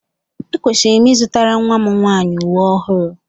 Ekwesịrị m ịzụtara nnwa m nwaanyị uwe ọhụụ